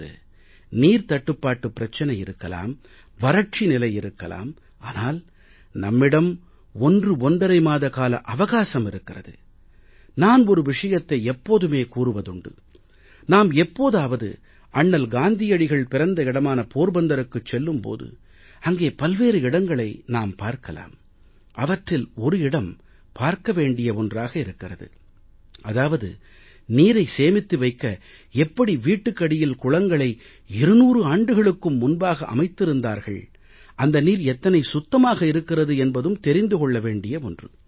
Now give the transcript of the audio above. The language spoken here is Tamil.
இன்று நீர் தட்டுப்பாட்டு பிரச்சனை இருக்கலாம் வறட்சி நிலை இருக்கலாம் ஆனால் நம்மிடம் ஒன்று ஒன்றரை மாத கால அவகாசம் இருக்கிறது நான் ஒரு விஷயத்தை எப்போதுமே கூறுவதுண்டு நாம் எப்போதாவது அண்ணல் காந்தியடிகள் பிறந்த இடமான போர்பந்தருக்குச் செல்லும் போது அங்கே பல்வேறு இடங்களை நாம் பார்க்கலாம் அவற்றில் ஒரு இடம் பார்க்க வேண்டிய ஒன்றாக இருக்கிறது அதாவது நீரை சேமித்து வைக்க எப்படி வீட்டுக்கு அடியில் குளங்களை 200 ஆண்டுகளுக்கும் முன்பாக அமைத்திருந்தார்கள் அந்த நீர் எத்தனை சுத்தமாக இருக்கிறது என்பதும் தெரிந்து கொள்ள வேண்டிய ஒன்று